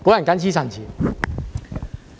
謹此陳辭。